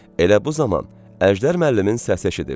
Elə bu zaman Əjdər müəllimin səsi eşidildi.